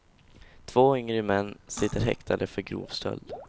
Två yngre män sitter häktade för grov stöld.